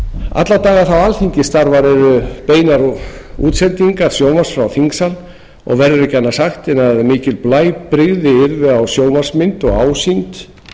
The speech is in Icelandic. alla daga þá alþingi starfar eru beinar útsendingar sjónvarps frá þingsal og verður ekki annað sagt en að mikil blæbrigði yrðu á sjónvarpsmynd og ásýnd